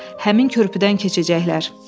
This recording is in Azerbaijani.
Quldurlar həmin körpüdən keçəcəklər.